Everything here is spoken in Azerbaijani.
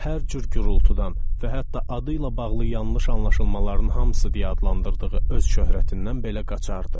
Hər cür gurultudan və hətta adıyla bağlı yanlış anlaşılmaların hamısı deyə adlandırdığı öz şöhrətindən belə qaçardı.